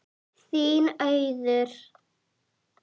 Þín Auður.